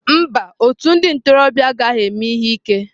Mba, otu ndị ntorobịa agaghị eme ihe ike